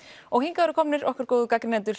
og hingað eru komin okkar góðu gagnrýnendur